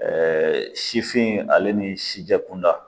sifin ale ni sijɛkunda